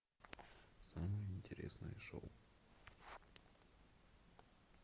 самое интересное шоу